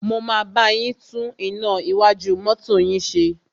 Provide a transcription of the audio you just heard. Mo máa bá yín tún iná iwájú mọ́tọ́ yín ṣe.